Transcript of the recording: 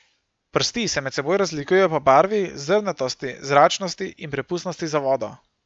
Prsti se med seboj razlikujejo po barvi, zrnatosti, zračnosti in prepustnosti za vodo.